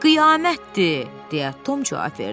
Qiyamətdir, deyə Tom cavab verdi.